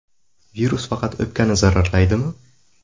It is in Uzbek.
Virus faqat o‘pkani zararlaydimi?